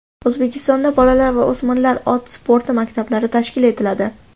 O‘zbekistonda bolalar va o‘smirlar ot sporti maktablari tashkil etiladi.